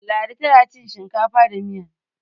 ladi tana ci hinkafa da Miya